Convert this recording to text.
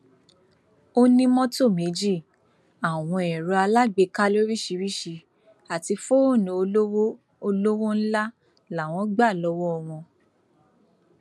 ó ní mọtò méjì àwọn ẹrọ alágbèéká lóríṣìíríṣìí àti fóònù olówó olówó ńlá làwọn gbà lọwọ wọn